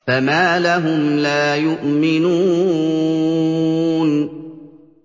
فَمَا لَهُمْ لَا يُؤْمِنُونَ